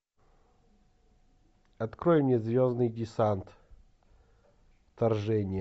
открой мне звездный десант вторжение